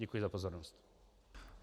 Děkuji za pozornost.